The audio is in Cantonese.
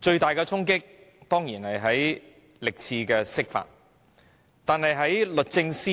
最大的衝擊當然是歷次的釋法，但律政司